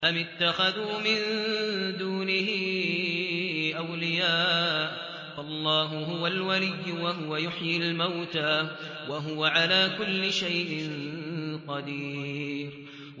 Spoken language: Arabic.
أَمِ اتَّخَذُوا مِن دُونِهِ أَوْلِيَاءَ ۖ فَاللَّهُ هُوَ الْوَلِيُّ وَهُوَ يُحْيِي الْمَوْتَىٰ وَهُوَ عَلَىٰ كُلِّ شَيْءٍ قَدِيرٌ